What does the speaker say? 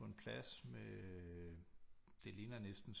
På en plads med øh det ligner næsten